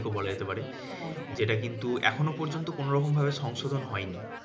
দিকও বলা যেতে পারে। যেটা কিন্তু এখনও পর্যন্ত কোনোরকম ভাবে সংশোধন হয়নি।